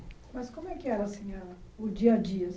Mas como é que era, assim, a o dia a dia, assim